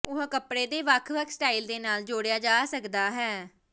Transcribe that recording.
ਉਹ ਕੱਪੜੇ ਦੇ ਵੱਖ ਵੱਖ ਸਟਾਈਲ ਦੇ ਨਾਲ ਜੋੜਿਆ ਜਾ ਸਕਦਾ ਹੈ